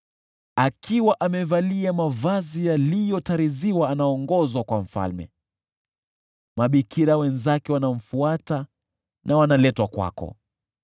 Anaongozwa kwa mfalme, akiwa amevalia mavazi yaliyotariziwa, mabikira wenzake wanamfuata na wanaletwa kwako.